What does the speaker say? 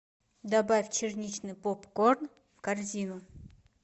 добавь черничный попкорн в корзину